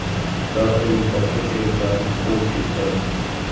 va uning boshqa sheriklarini quvib ketgan.